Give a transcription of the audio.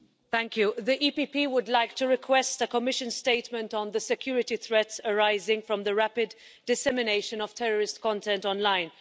Mr President, the PPE Group would like to request a Commission statement on the security threats arising from the rapid dissemination of terrorist content online.